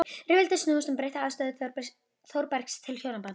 Rifrildin snúast um breytta afstöðu Þórbergs til hjónabandsins.